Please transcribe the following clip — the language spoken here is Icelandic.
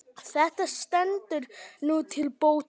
Þetta stendur nú til bóta.